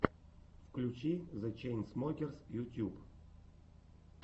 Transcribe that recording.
включи зе чейнсмокерс ютьюб